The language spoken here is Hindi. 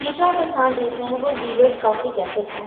ये जो आप स्थान देख रहे हैं वो वीवर्स कौफी कैफे का है।